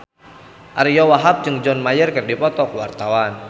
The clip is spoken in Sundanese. Ariyo Wahab jeung John Mayer keur dipoto ku wartawan